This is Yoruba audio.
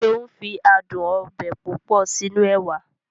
Seun fi adùn ọbẹ̀ púpọ̀ sínú ẹwà